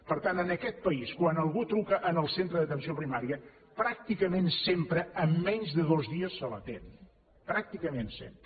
per tant en aquest país quan algú truca al centre d’atenció primària pràcticament sempre en menys de dos dies se l’atén pràcticament sempre